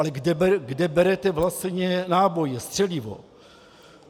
Ale kde berete vlastně náboje, střelivo?